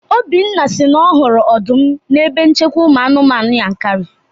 Obinna si na ọ hụrụ ọdụm n'ebe nchekwa ụmụ anụmanụ Yankari